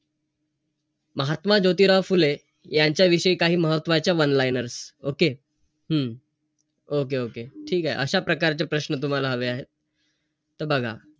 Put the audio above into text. चालत बिलात सारखं जायचं मी अकरा वाजता माझा timing झाला. अ